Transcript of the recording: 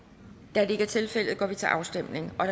da det ikke er tilfældet går vi til afstemning